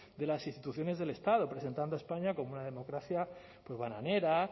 de las instituciones del estado presentando a españa como una democracia bananera